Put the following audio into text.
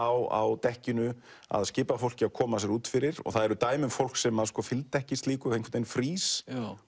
á dekkinu að skipa fólki að koma sér út fyrir og það eru dæmi um fólk sem fylgdi ekki slíku einhvern frýs